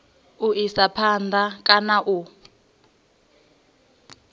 u isa phanda kana u